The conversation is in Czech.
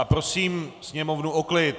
A prosím sněmovnu o klid.